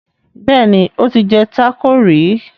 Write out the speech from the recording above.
Béèni o tí jé taco rí.